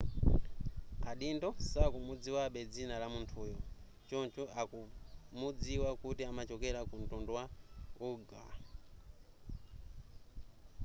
adindo sakumudziwabe dzina la munthuyo choncho akumudziwa kuti amachokera ku mtundu wa uighur